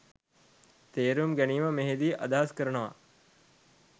තේරුම් ගැනීම මෙහිදී අදහස් කරනවා.